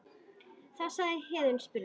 Þá sagði Héðinn og spurði